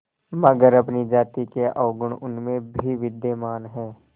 मगर अपनी जाति के अवगुण उनमें भी विद्यमान हैं